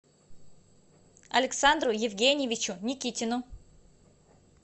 александру евгеньевичу никитину